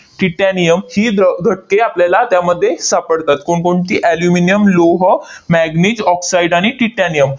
titanium ही दर घटके आपल्याला त्यामध्ये सापडतात. कोणकोणती? aluminum लोह, manganese, oxide आणि titanium